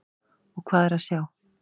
Og hvað er að sjá?